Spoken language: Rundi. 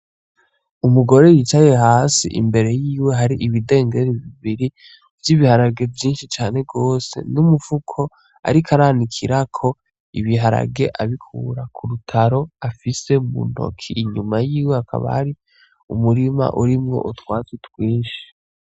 Umugore yicaye hasi imbere yiwe hari ibidengeri bibiri vy'ibiharage vyinshi cane gose n' umufuko ariko aranikirako ibiharage abikura kurutaro afise mu ntoki inyuma yiwe hakaba hari umurima urimwo utwatsi twinshi.